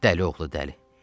Dəli oğlu dəli.